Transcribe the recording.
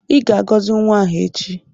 I ga-agọzi nwa ahụ echi.